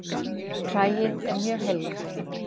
Hræið er mjög heillegt